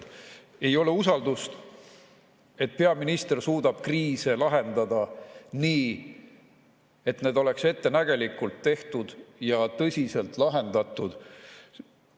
Ei ole usaldust, et peaminister suudab kriise lahendada nii, et need oleksid ettenägelikult tehtud ja tõsiselt lahendatud.